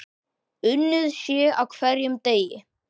Unnið sé á hverjum degi.